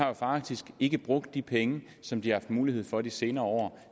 jo faktisk ikke har brugt de penge som de har mulighed for de senere år